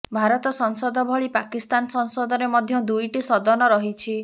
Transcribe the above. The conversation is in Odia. ଭାରତ ସଂସଦ ଭଳି ପାକିସ୍ତାନ ସଂସଦରେ ମଧ୍ୟ ଦୁଇଟି ସଦନ ରହିଛି